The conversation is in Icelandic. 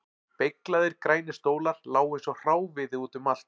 Beyglaðir grænir stólar lágu eins og hráviði út um allt